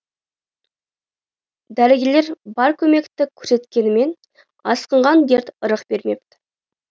дәрігерлер бар көмекті көрсеткенімен асқынған дерт ырық бермепті